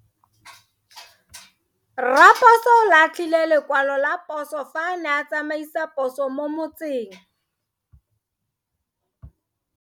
Raposo o latlhie lekwalo ka phoso fa a ne a tsamaisa poso mo motseng.